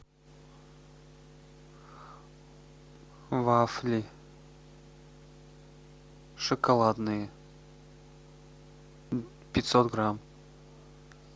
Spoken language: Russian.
вафли шоколадные пятьсот грамм